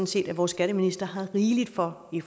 set at vores skatteminister har rigeligt for i